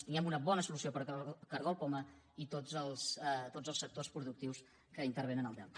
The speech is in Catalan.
tinguem una bona solució per al cargol poma i tots els sectors productius que intervenen al delta